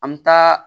An bɛ taa